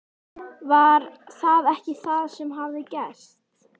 Var það ekki það sem hafði gerst?